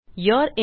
you're in